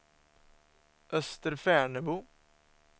Österfärnebo